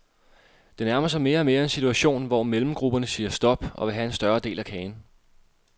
Det nærmer sig mere og mere en situation, hvor mellemgrupperne siger stop og vil have en større del af kagen.